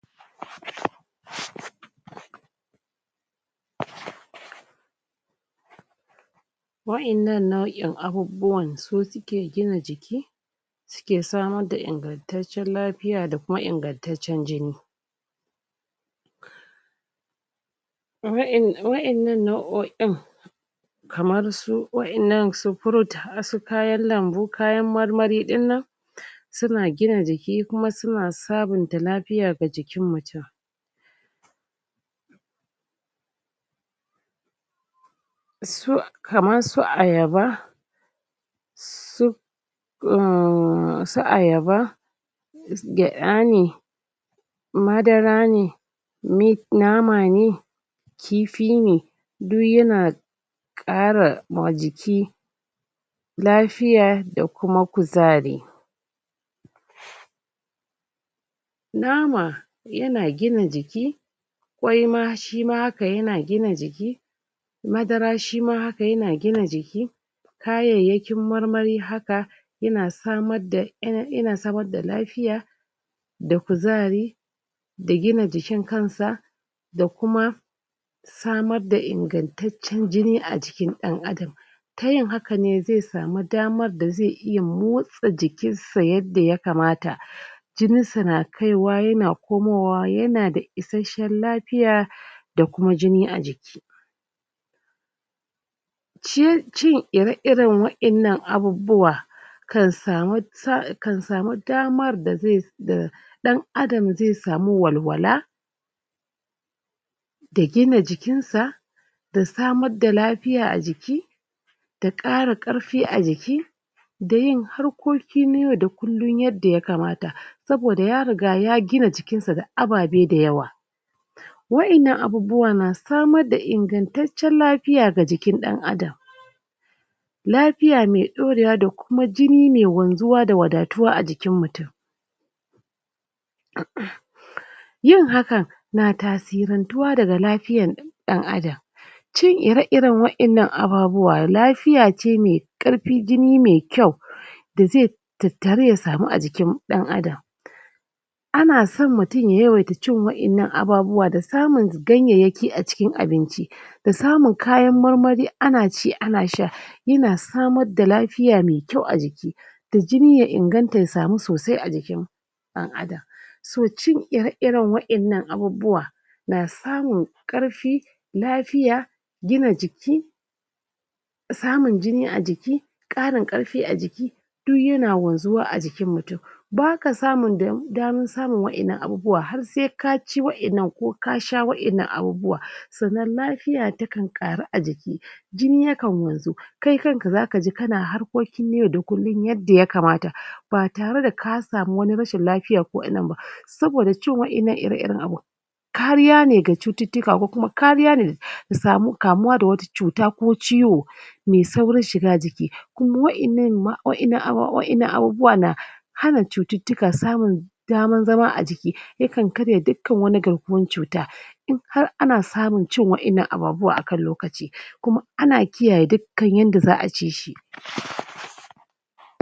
um um Wa'yannan nau'in abubuwan su suke gina jiki suke samar da ingantaccen lafiya da kuma ingantaccen jini wa'yan wa'yannan nau'o'in kamar su wa'yannan su fruit su kayan lambu kayan marmarai ɗin nan um suna gina jiki kuma sun sabunta lafiya ga jikin mutum su kaman su Ayaba su um su Ayaba gyaɗa ne Madara ne nif nama ne Kifi ne duy yana ƙara ma jiki lafiya da kuma kuzari um nama yana gina jiki kwai ma shi ma haka yana gina jiki madara shi ma haka yana gina jiki kayayyakin marmari haka yana samar da yana samar da lafiya da kuzari da gina jikin kansa da kuma samar da ingantaccen jini a jikin ɗan adam ta yin haka ne zai samu damar da zai iya motsa jikinsa yadda ya kamata jininsa na kaiwa yana komowa yana da isasshan lafiya da kuma jini a jiki shi cin ire-ire wa'yannan abubuwa kan samu kan samu damar da zai da ɗan adam zai samu walwala da gina jikinsa da samar da lafiya a jiki da ƙara ƙarfi a jiki da yin harkoki na yaud a kullum yadda ya kamata saboda ya riga ya gina jikinsa da abebe da yawa wa'yanna abubuwa masu samar da ingantaccan lafiya ga jikin ɗan adam lafiya me ɗorewa da kuma jini me wanzuwa da wadatuwa a jikin mutum um yin hakan na tasirantuwa daga lafiyan ɗan adan cin ire-iren wa'yannan ababuwa lafiya ce me me ƙarfi jini me kyau da ze tattaru ya sama a jikin ɗan adam ana son mutum ya yawaita ci wa'yannan ababuwa da samun gayyayaki a cikin abinci da samun kayan marmari ana ci ana sha yana samar da lafiya me kyau a jiki da jini ya inganta ya samu sosai a jikin ɗan adam so cin ire-iren wa'yannan abubuwa na samun ƙarfin lafiya hina jiki samun jini a jiki ƙarin ƙarfi a jii duy yana wanzuwa a jikin mutum baka samun da damar samun wa'yannan abubuwa har sai ka ci wa'yannan ko sha wa'yannan abubuwa sannan lafiya takan ƙarau a jiki jini yakan wanzu kai kanka zaka ji kana harkokin yau da kullum yadda ya kamata ba tare da ka samu wani rashin lafiya saboda cin wa'yanna ire-iren abun kariya ne ga cututtuka ko kuma kariya ne samu kamuwa da wata cuta ko ciwo me zaurin shiga jiki kuma wa'yannan ma wa'yannan aba wa'yannan abubuwa na hana cututtuka samun daman zama a jiki yakan karya dukkan wani garkuwan cuta in har ana samun cin wa'yannan abubuwa a kan lokaci kuma an kiyaye dukkan yanda za a ci shi um